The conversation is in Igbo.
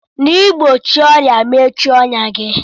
N'igbochie ọrịa, mechie ọnyá gị.